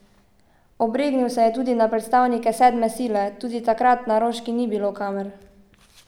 Obregnil se je tudi na predstavnike sedme sile: 'Tudi takrat na Roški ni bilo kamer.